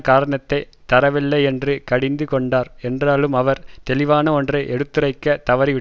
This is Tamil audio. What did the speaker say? காரணத்தை தரவில்லையென்று கடிந்துகொண்டார் என்றாலும் அவர் தெளிவான ஒன்றை எடுத்துரைக்க தவறிவிட்டார்